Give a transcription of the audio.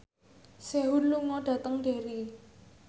Sehun lunga dhateng Derry